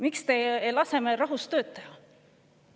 Miks te ei lase meil rahus tööd teha?